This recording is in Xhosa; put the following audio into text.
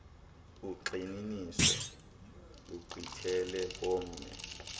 ugxininiso lugqithele komnye